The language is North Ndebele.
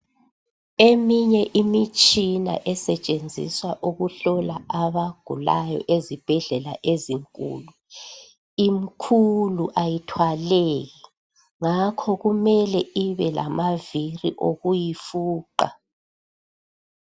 Eminye imitshina esetshenziswa ukuhlola abagulayo ezibhedlela ezinkulu, imkhulu ayithwaleki ngakho kumele ibe lamavili okuyifuqa